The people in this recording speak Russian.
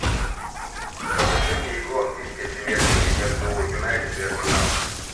покажи мне игру английской премьер лиги между юнайтед и арсеналом